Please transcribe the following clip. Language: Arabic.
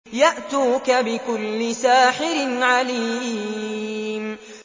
يَأْتُوكَ بِكُلِّ سَاحِرٍ عَلِيمٍ